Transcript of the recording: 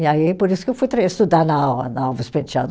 E aí, por isso que eu fui tra, estudar na na Alves Penteado.